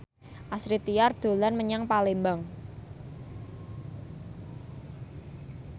Astrid Tiar dolan menyang Palembang